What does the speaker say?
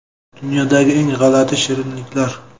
Dunyodagi eng g‘alati shirinliklar.